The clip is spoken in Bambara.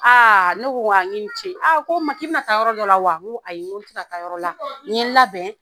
Ne ko wa i ni ce. a ko n ma k'i bɛna taa yɔrɔ dɔ la wa? N ko ayi , n tɛ na taa yɔrɔ la. N ye n labɛn